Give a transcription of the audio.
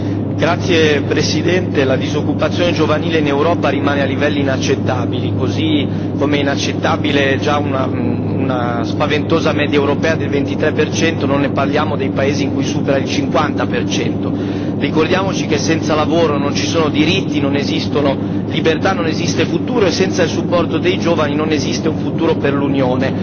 Signora Presidente, onorevoli colleghi, la disoccupazione giovanile in Europa rimane a livelli inaccettabili, così come inaccettabile è già una spaventosa media europea del 23 per cento, non parliamo dei paesi in cui supera il 50 per cento. Ricordiamoci che senza lavoro non ci sono diritti, non esistono libertà, non esiste futuro, e senza il supporto dei giovani non esiste un futuro per l'Unione.